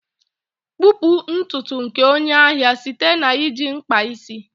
kpupu ntutu nke onye ahịa site na iji mkpa isi.